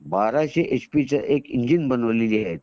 1200 H P च्या engine जी बनवलेली आहे